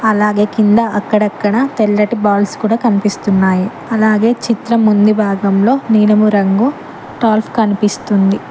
అలాగే కింద అక్కడక్కడ తెల్లటి బాల్స్ కూడా కనిపిస్తున్నాయి అలాగే చిత్రం ఉంది భాగంలో నీలము రంగు టాల్ఫ్ కనిపిస్తుంది.